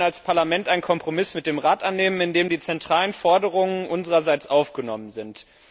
Wir werden als Parlament einen Kompromiss mit dem Rat annehmen, in dem die zentralen Forderungen unsererseits aufgenommen sind.